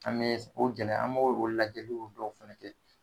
An bɛ s o gɛlɛya an b'o o lajɛliw dɔw fɛnɛ kɛ.